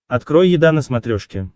открой еда на смотрешке